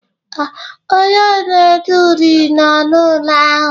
Ee, onye na-ede uri nọ n'ụlọ ahụ